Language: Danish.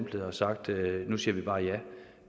og sagt at nu siger vi bare ja